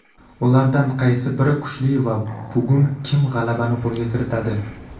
ulardan qaysi biri kuchli va bugun kim g‘alabani qo‘lga kiritadi?.